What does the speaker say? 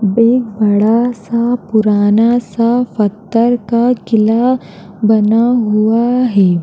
एक बड़ा सा पुराना सा पत्थर का किला बना हुआ है।